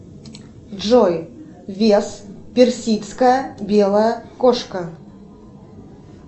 джой вес персидская белая кошка